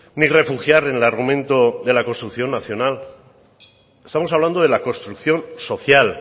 ni refugiar en el argumento de la construcción nacional estamos hablando de la construcción social